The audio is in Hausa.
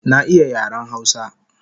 Na iya yaren hausa